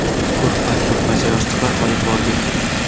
Ko‘rpa-ko‘rpacha, yostiqlar olib bordik.